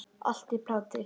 Allt í plati.